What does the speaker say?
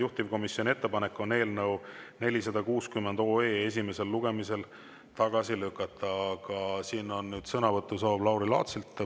Juhtivkomisjoni ettepanek on eelnõu 460 esimesel lugemisel tagasi lükata, aga nüüd on sõnavõtusoov Lauri Laatsil.